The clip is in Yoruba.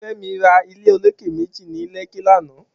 Femi rà ilé ólóké méji ni Lekki làná